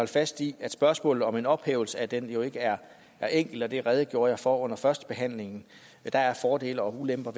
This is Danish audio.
fast i at spørgsmålet om en ophævelse af den jo ikke er enkel og det redegjorde jeg for under førstebehandlingen der er fordele og ulemper